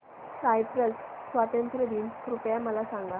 Cyprus स्वातंत्र्य दिन कृपया मला सांगा